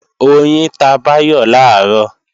Oyin ta Báyọ̀ làárọ̀